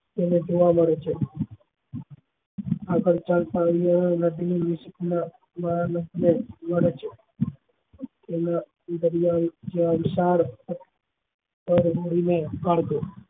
તેને જોવા મળે છે આગળ ચાલતા યુવાનો નદી માં